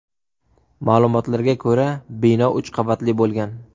Ma’lumotlarga ko‘ra , bino uch qavatli bo‘lgan.